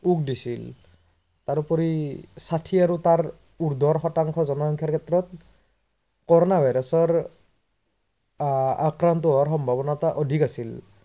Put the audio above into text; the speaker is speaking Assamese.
ওক দিছিল। তাৰোপৰি ষাঠি আৰু তাৰ উৰ্দ্ধৰ শতাংসৰ জনসংখ্যাৰ ক্ষেত্ৰত corona virus আহ আক্ৰান্ত হোৱাৰ সম্ভাবনীয়তা অধিক আছিল